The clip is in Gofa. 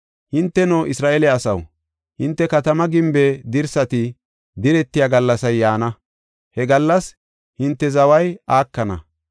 Hinteno, Isra7eele asaw, hinte katamaa gimbe dirsati diretiya gallasay yaana; he gallas hinte zaway aakana.